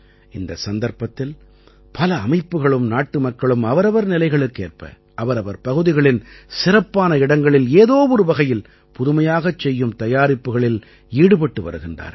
இந்த சந்தர்ப்பத்தில் பல அமைப்புகளும் நாட்டுமக்களும் அவரவர் நிலைகளுக்கேற்ப அவரவர் பகுதிகளின் சிறப்பான இடங்களில் ஏதோ ஒரு வகையில் புதுமையாகச் செய்யும் தயாரிப்புக்களில் ஈடுபட்டு வருகின்றார்கள்